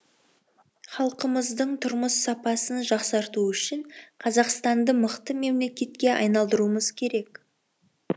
халқымыздың тұрмыс сапасын жақсарту үшін қазақстанды мықты мемлекетке айналдыруымыз керек